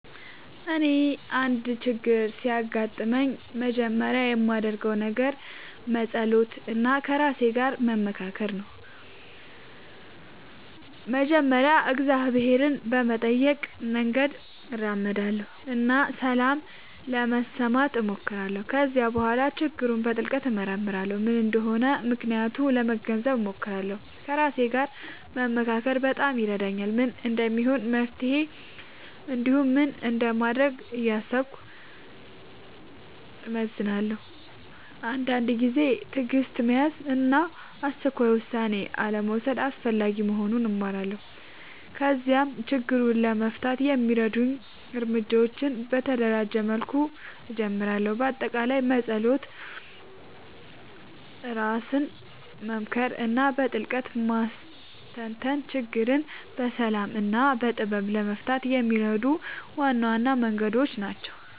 እኔ አንድ ችግር ሲያጋጥምኝ መጀመሪያ የማደርገው ነገር መጸሎት እና ከራሴ ጋር መመካከር ነው። በመጀመሪያ እግዚአብሔርን በመጠየቅ መንገድ እመራለሁ እና ሰላም ለመስማት እሞክራለሁ። ከዚያ በኋላ ችግሩን በጥልቅ እመርመራለሁ፤ ምን እንደሆነ ምክንያቱን ለመገንዘብ እሞክራለሁ። ከራሴ ጋር መመካከር በጣም ይረዳኛል፤ ምን እንደሚሆን መፍትሄ እንዲሁም ምን እንደማደርግ እያሰብኩ እመዝናለሁ። አንዳንድ ጊዜ ትዕግሥት መያዝ እና አስቸኳይ ውሳኔ አልመውሰድ አስፈላጊ መሆኑን እማራለሁ። ከዚያም ችግሩን ለመፍታት የሚረዱ እርምጃዎችን በተደራጀ መልኩ እጀምራለሁ። በአጠቃላይ መጸሎት፣ ራስን መመካከር እና በጥልቅ ማስተንተን ችግርን በሰላም እና በጥበብ ለመፍታት የሚረዱ ዋና ዋና መንገዶች ናቸው።